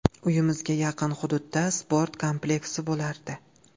Uyimizga yaqin hududda sport kompleksi bo‘lardi.